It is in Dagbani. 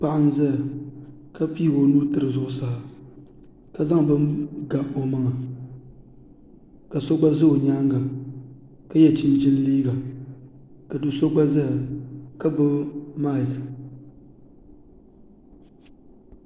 Paɣa n ʒɛya ka piigi o nuu tiri zuɣusaa ka zaŋ bini ga o maŋa ka so gba ʒɛ o nyaanga ka yɛ chinchin liiga ka do so gba ʒɛya ka gbubi maik